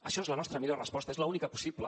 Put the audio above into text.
això és la nostra millor resposta és l’única possible